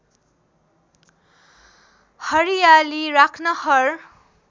हरियाली राख्न हर